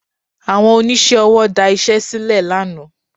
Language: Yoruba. Àwọn oníṣẹ́ ọwọ́ da iṣẹ́ sílẹ̀ lánàá